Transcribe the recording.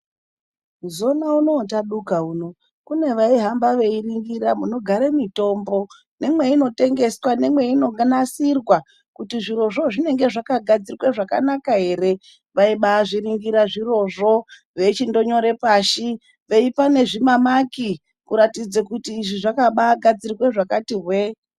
Zona unowu watadoka uno kune vaihamba veiningira munogare mitombo nemweinotengeswa, nemweino nasirwa kuti zvirozvo zvinenge zvakagadzirwe zvakanaka ere. Vaibazviningira zvirizvo, veichindonyore pashi veipa nezvima maki kuratidze kuti izvi zvakaambagadzirwe zvakati hwee.